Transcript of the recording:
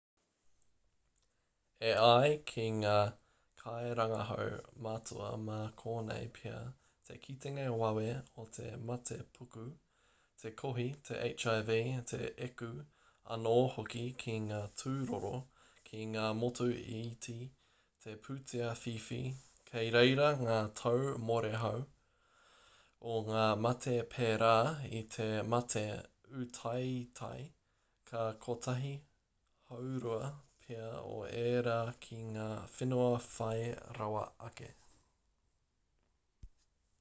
e ai ki ngā kairangahau matua mā konei pea te kitenga wawe o te matepuku te kohi te hiv te eku anō hoki ki ngā tūroro ki ngā motu iti te pūtea whiwhi kei reira ngā tau mōrehu o ngā mate perā i te mate ūtaetae ka kotahi haurua pea o ērā ki ngā whenua whai rawa ake